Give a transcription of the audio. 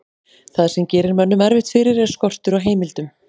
það sem gerir mönnum erfitt fyrir er skortur á heimildum